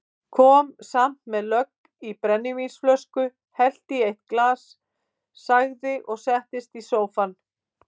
Kom samt með lögg í brennivínsflösku, hellti í eitt glas, sagði og settist í sófann